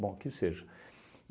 Bom, que seja.